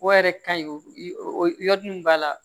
O yɛrɛ ka ɲi o yɔrɔ min b'a la